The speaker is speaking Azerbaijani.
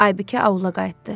Aybikə aula qayıtdı.